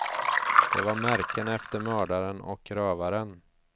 De var märken efter mördaren och rövaren.